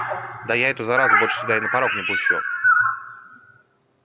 да я эту заразу больше сюда и на порог не пущу